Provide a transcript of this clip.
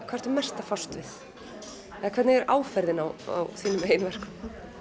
ertu mest að fást við eða hvernig er áferðin á þínum eigin verkum